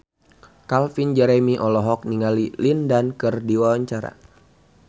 Calvin Jeremy olohok ningali Lin Dan keur diwawancara